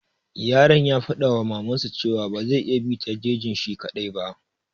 Yaron ya faɗa wa maman sa cewa ba zai iya bi ta jejin shi kaɗai ba.